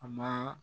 A ma